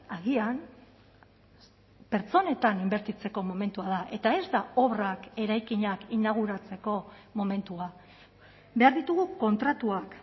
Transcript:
agian pertsonetan inbertitzeko momentua da eta ez da obrak eraikinak inauguratzeko momentua behar ditugu kontratuak